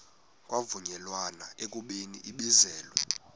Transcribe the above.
kwavunyelwana ekubeni ibizelwe